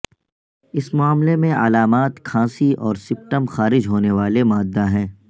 اس معاملے میں علامات کھانسی اور سپٹم خارج ہونے والے مادہ ہیں